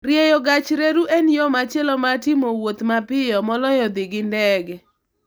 Rieyo gach reru en yo machielo mar timo wuoth mapiyo moloyo dhi gi ndege.